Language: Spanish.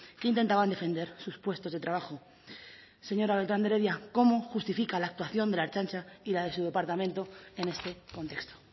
que intentaban defender sus puestos de trabajo señora beltrán de heredia cómo justifica la actuación de la ertzaintza y la de su departamento en este contexto